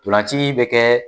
Tolanci bɛ kɛ